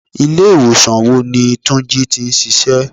Ilé ìwòsàn wo ni túnjí tí ń ṣíṣe?